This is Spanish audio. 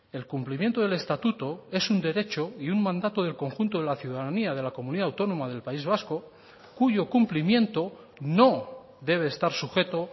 el cumplimiento del estatuto es un derecho y un mandato del conjunto de la ciudadanía de la comunidad autónoma del país vasco cuyo cumplimiento no debe estar sujeto